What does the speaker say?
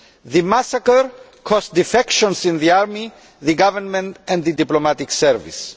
The massacre caused defections in the army, the government and the diplomatic service.